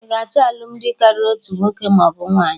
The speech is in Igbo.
Ị ga achọ alụmdi karịrị otu nwoke maọbụ nwaanyị?